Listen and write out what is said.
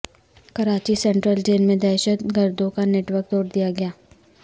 Karachi central jail میں دہشت گردوں کا نیٹ ورک توڑ دیا گیا